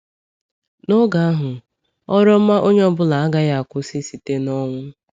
N’oge ahụ, ọrụ ọma onye ọ bụla agaghị akwụsị site n’ọnwụ.